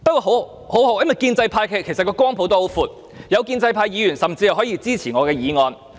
幸好，建制派的光譜也很闊，有建制派議員甚至可以支持我的議案。